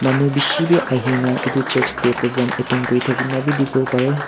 manu bishi bi ahina etu church tey program attend kurithakina bi dikhiwo pare.